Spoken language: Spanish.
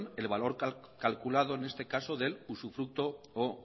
el valor calculado en este caso del usufructo o